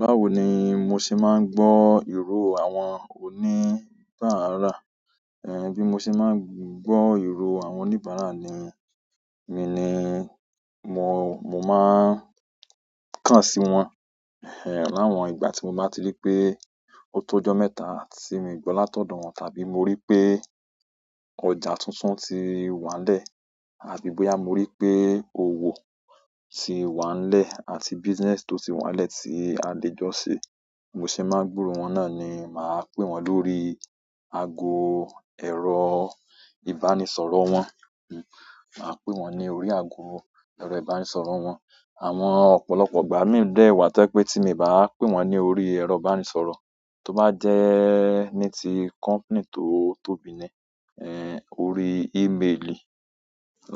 Báwo ni mo ṣe máa ń gbọ́ ìró àwọn oníbàárà, ẹ́ń, bí mo ṣe máa ń gbọ́ ìró àwọn oníbàárà ni, mi ni mo, mo máa kàn sí wọn, ẹ́ẹ̀, láwọn ìgbà tí mo bá ti rí pé o tó ọjọ́ mẹ́ta tí mì gbọ́ látọ̀dọ̀ wọ́n, tàbí mo rí pé ọjà tuntun ti wà n lẹ́ẹ̀, àbí bóyá mo rí pé òwò ti wà n lẹ́ẹ̀ àti business tó ti wà n lẹ́ẹ̀ tí a lè jọ ṣe. Mo ṣe máa gbúrò wọn náà ni, màá pè wọ́n lórí ago ẹrọ ìbánisọ̀rọ̀ wọn, hm, màá pè wọ́n ní orí ago ẹrọ ìbánisọ̀rọ̀ wọn. Àwọn ọ̀pọ̀lọpọ̀ ìgbà mii dẹ wà tó jẹ pé tí mi bá pè wọ́n ní orí ẹ̀rọ ìbánisọ̀rọ̀, tó bá jẹ́ ní ti company tó tóbi ni, ẹ́ẹ̀, orí email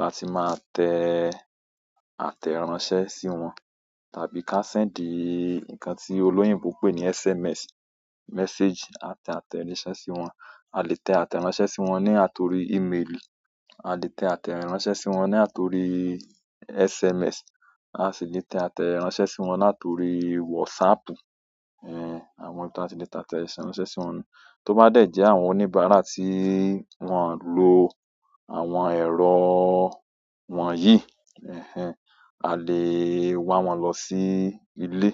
láti máa tẹ àtẹ̀ránsẹ́ sí wọn tàbí ká send nǹkan tí olóyìnbo ń pè ní SMS message àtẹ àtẹnisẹ́ sí wọn. A lè tẹ àtẹ̀ránsẹ́ sí wọn ní àtorí email, a lè tẹ àtẹ̀ránsẹ́ sí wọn ní àtorí SMS, a sì lè tẹ àtẹ̀ránsẹ́ sí wọn látọrí WhatsApp, ẹ́ẹ̀, àwọn n tà tí lè tẹ àtẹ̀ránsẹ́ sí wọn. Tó bá dẹ̀ jẹ́ àwọn oníbàárà tí wọ́n lo àwọn ẹ̀rọ wọ̀nyí, ẹ́ẹ̀, a lè wa wọ́n lọ sí ilé,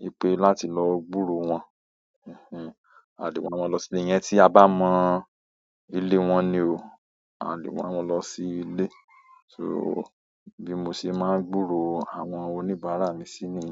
yi pé láti lọ gbúrò wọ́n, ẹ́ẹ̀, a lè wa wọ́n lọ sílé. Iyẹn tí a bá mọ ile wọn ni oo, a le wa wọn lọ si ile. So bí mo ṣe máa ń gbúrò àwọn oníbàárà mi sí ni.